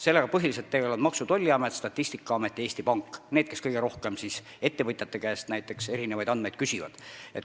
Sellega tegelevad põhiliselt Maksu- ja Tolliamet, Statistikaamet ja Eesti Pank – need, kes kõige rohkem ettevõtjate käest andmeid küsivad.